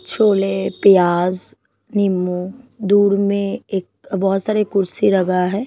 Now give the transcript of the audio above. छोले प्याज नींबू दूर में एक बहोत सारे कुर्सी लगा है।